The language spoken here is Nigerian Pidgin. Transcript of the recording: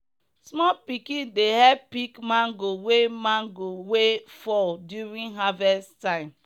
small pikin dey help pick mango wey mango wey fall during harvest time.